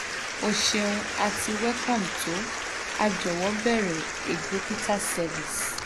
o ṣeun ati welcome to a jọwọ beere a dokita service